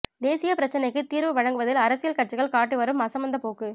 தேசிய பிரச்சினைக்கு தீர்வு வழங்குவதில் அரசியல் கட்சிகள் காட்டிவரும் அசமந்த போக்கு